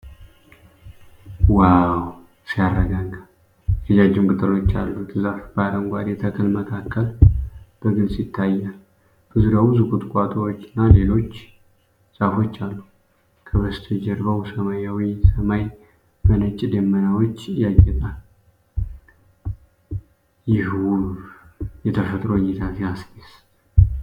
ዋው ሲያረጋጋ! የረጃጅም ቅጠሎች ያሉት ዛፍ በአረንጓዴው ተክል መካከል በግልጽ ይታያል። በዙሪያው ብዙ ቁጥቋጦዎችና ሌሎች ዛፎች አሉ። ከበስተጀርባው ሰማያዊው ሰማይ በነጭ ደመናዎች ያጌጣል። ይህ ውብ የተፈጥሮ እይታ ሲያስደስት!